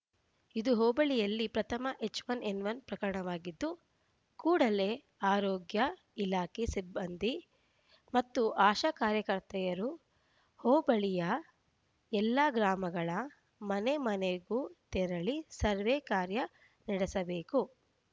ಇದು ಹೋಬಳಿಯಲ್ಲಿ ಪ್ರಥಮ ಎಚ್‌ ಒನ್ ಎನ್‌ ಒನ್ ಪ್ರಕರಣವಾಗಿದ್ದು ಕೂಡಲೇ ಆರೋಗ್ಯ ಇಲಾಖೆ ಸಿಬ್ಬಂದಿ ಮತ್ತು ಆಶಾ ಕಾರ್ಯಕರ್ತೆಯರು ಹೋಬಳಿಯ ಎಲ್ಲಾ ಗ್ರಾಮಗಳ ಮನೆಮನೆಗೂ ತೆರಳಿ ಸರ್ವೇ ಕಾರ್ಯ ನಡೆಸಬೇಕು